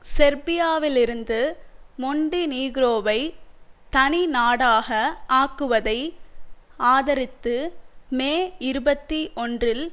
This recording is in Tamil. செர்பியாவிலிருந்து மொண்டிநீக்ரோவை தனிநாடாக ஆக்குவதை ஆதரித்து மே இருபத்தி ஒன்றில்